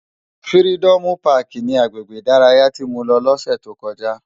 Fìrídòmú pàkí ni àgbégbé idàráyá ti mó lò lòsè tókòjá